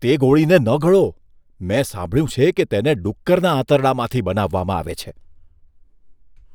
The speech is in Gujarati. તે ગોળીને ન ગળો. મેં સાંભળ્યું છે કે તેને ડુક્કરના આંતરડામાંથી બનાવવામાં આવે છે.